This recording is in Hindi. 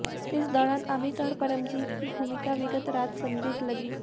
इस दौरान अमित और परमजीत की भूमिका विगत रात संदिग्ध लगी